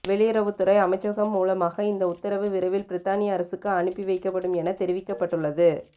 வெளியுறவுத்துறை அமைச்சகம் மூலமாக இந்த உத்தரவு விரைவில் பிரித்தானிய அரசுக்கு அனுப்பி வைக்கப்படும் என தெரிவிக்கப்பட்டுள்ளது